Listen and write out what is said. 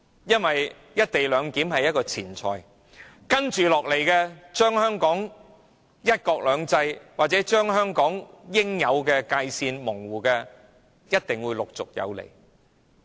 "一地兩檢"是前菜，模糊香港的"一國兩制"或應有的界線，一定會是主菜。